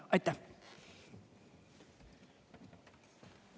Aitäh!